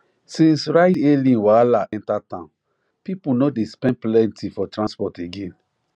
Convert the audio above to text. since ride hailing wahala enter town people no dey spend plenty for transport again